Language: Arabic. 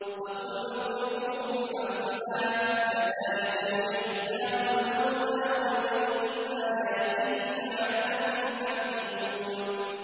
فَقُلْنَا اضْرِبُوهُ بِبَعْضِهَا ۚ كَذَٰلِكَ يُحْيِي اللَّهُ الْمَوْتَىٰ وَيُرِيكُمْ آيَاتِهِ لَعَلَّكُمْ تَعْقِلُونَ